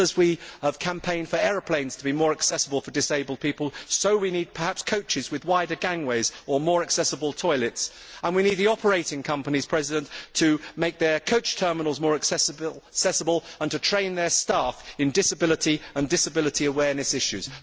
Just as we have campaigned for aeroplanes to be more accessible to disabled people, so we need, perhaps, coaches with wider gangways or more accessible toilets, and we need the operating companies to make their coach terminals more accessible and to train their staff in disability and disability awareness issues.